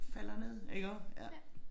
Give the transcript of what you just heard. Falder ned iggå ja